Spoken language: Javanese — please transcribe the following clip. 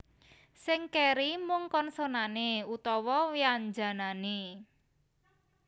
Sing kéri mung konsonané utawa wyanjanané